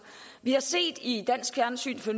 vi har i dansk fjernsyn for